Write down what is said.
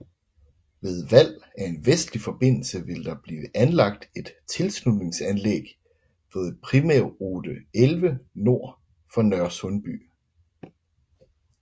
Ved valg af en vestlig forbindelse vil der blive anlagt et tilslutningsanlæg ved primærrute 11 nord for Nørresundby